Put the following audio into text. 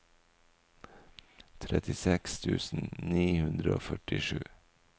trettiseks tusen ni hundre og førtisju